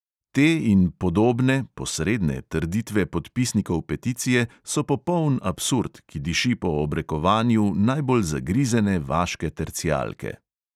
Te in podobne trditve podpisnikov peticije so popoln absurd, ki diši po obrekovanju najbolj zagrizene vaške tercijalke.